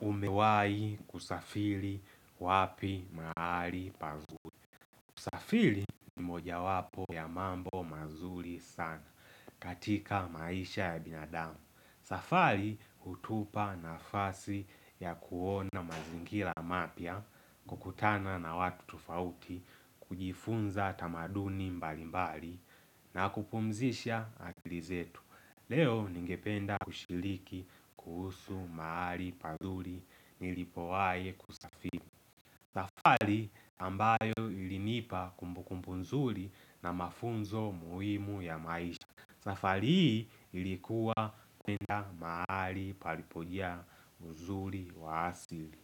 Umewahi kusafili wapi mahali pazuli. Kusafili ni mojawapo ya mambo mazuli sana katika maisha ya binadamu. Safali hutupa nafasi ya kuona mazingila mapya, kukutana na watu tofauti, kujifunza tamaduni mbali mbali na kupumzisha akili zetu. Leo ningependa kushiliki kuhusu mahali pazuri nilipowahi kusafiri. Safari ambayo ilinipa kumbukumbu nzuri na mafunzo muhimu ya maisha. Safari hii ilikuwa kwenda mahali palipodia mzuri wa asili.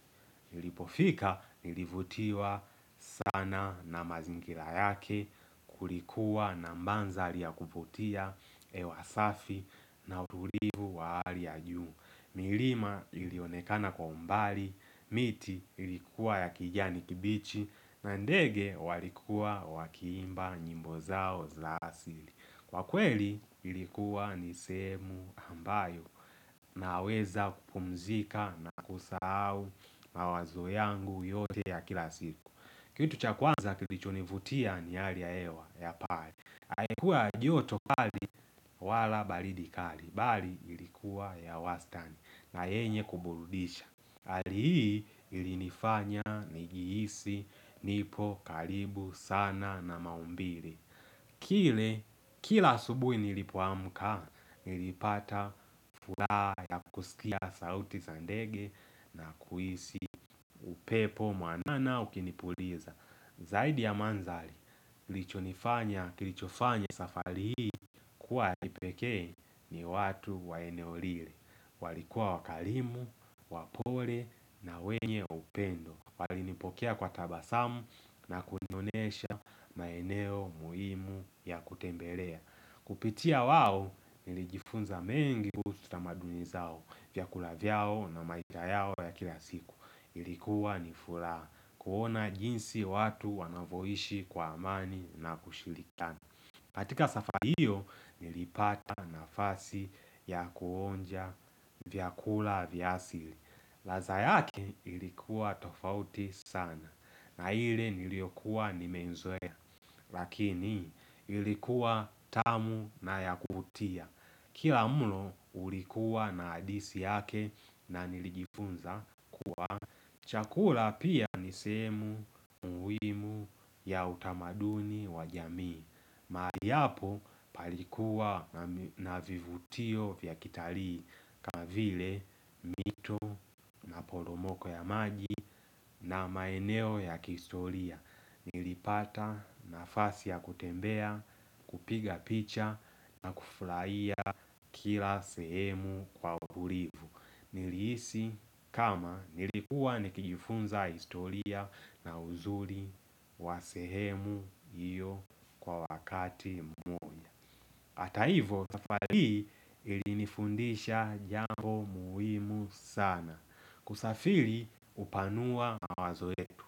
Nilipofika, nilivutiwa sana na mazingira yake kulikuwa na mandhari ya kuvutia. Hewa safi na utulivu wa hali ya juu. Milima ilionekana kwa umbali, miti ilikuwa ya kijani kibichi na ndege walikuwa wakiimba nyimbo zao za asili. Kwa kweli ilikuwa ni sehemu ambayo naweza kupumzika na kusahau mawazo yangu yote ya kila siku Kitu cha kwanza kilichonivutia ni hali ya hewa ya pale. Haikuwa joto kali wala baridi kali bali ilikuwa ya wastani na yenye kuburudisha. Hali hii ilinifanya nijihisi, nipo, karibu, sana na maumbile Kile, kila asubuhi nilipoamka, nilipata furaha ya kusikia sauti za ndege na kuhisi upepo mwanana ukinipuliza Zaidi ya mandhari. Kilichonifanya, kilichofanya safari hii kuwa ya kipekee ni watu wa eneo lile. Walikuwa wakarimu, wapole na wenye upendo. Walinipokea kwa tabasamu na kunionesha maeneo muhimu ya kutembelea. Kupitia wao nilijifunza mengi kuhusu tamaduni zao vyakula vyao na maiga yao ya kila siku Ilikuwa ni furaha kuona jinsi watu wanavyoishi kwa amani na kushirikiana katika safari hiyo nilipata nafasi ya kuonja vyakula vya asili. Ladha yake ilikuwa tofauti sana na ile niliyokuwa nimeizoea Lakini ilikuwa tamu na ya kuvutia Kila mulo ulikuwa na hadisi yake na nilijifunza kuwa chakula pia ni sehemu muhimu ya utamaduni wa jamii mahali hapo palikuwa na vivutio vya kitarii kama vile mito, maporomoko ya maji na maeneo ya kihistoria nilipata nafasi ya kutembea, kupiga picha na kufurahia kila sehemu kwa uburivu Nilihisi kama nilikuwa nikijifunza historia na uzuri wa sehemu hiyo kwa wakati mmoja. Hata hivyo, safari hii ilinifundisha jambo muhimu sana. Kusafiri hupanua mawazo yetu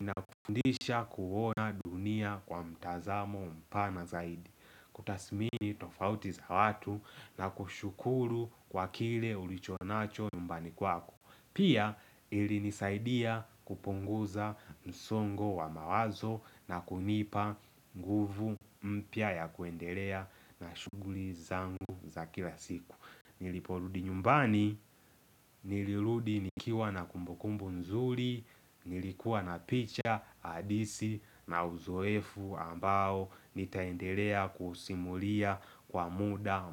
na kufundisha kuona dunia kwa mtazamo mpana zaidi. Kutasmini tofauti za watu na kushukuru kwa kile ulichonacho nyumbani kwako. Pia ilinisaidia kupunguza msongo wa mawazo na kunipa nguvu mpya ya kuendelea na shughuli zangu za kila siku. Niliporudi nyumbani, nilirudi nikiwa na kumbukumbu nzuri, nilikuwa na picha, hadisi na uzoefu ambao nitaendelea kuusimulia kwa muda mpya.